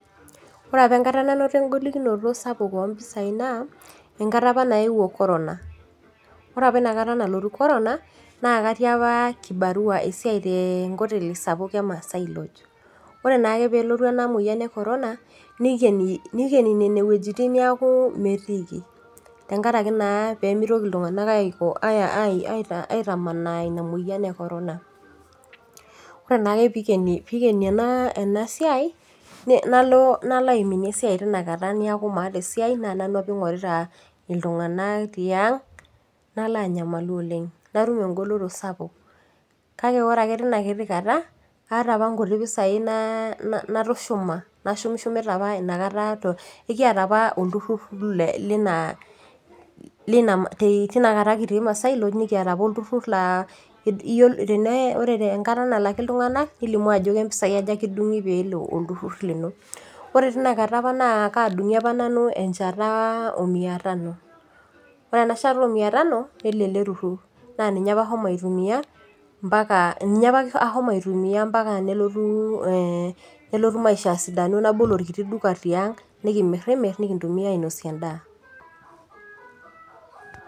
Ore apa enkata nanoto egolikinoto sapuk oo mpisai naa enkata apa nayewuo corona ore apa enakata nalotu corona naa katii apa kibarua esiai tee nkoteli sapuk ee maasai lodge ore naa ake pee elotu ena moyian ee corona nikeni Nene wuejitin neeku metiki tenkaraki naa pee mitoki iltung'ana aitamanaa ena moyian ee corona ore naa ake pee eikeni ena siai nalo aiminie esiai teina kata neeku maata esiai naa nanu apa eingorita iltung'ana tiang nalo anyamalu oleng natum egoloyo sapuk kake ore ake teina kata kaata apa nkuti pisai natushuma nashukishumita ekiata apa olturur ore enkata nalakii iltung'ana nilimu Ajo kajaa mpisai nikidungi pee elo olturur lino ore ena kata naa kadungi apa nanu enjata oo mia Tano ore ena shata oo mia Tano nelo ele turur naa ninye apa ashomo aitumia mbaka nelotu maisha asidanu nabol orkiti duka tiang nikimirnir nikintumia ainosie endaa